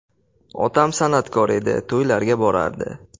Otam san’atkor edi, to‘ylarga borardi.